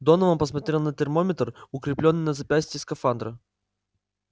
донован посмотрел на термометр укреплённый на запястье скафандра